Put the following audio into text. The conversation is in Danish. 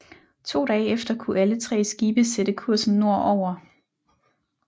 To dage efter kunne alle tre skibe sætte kursen nord over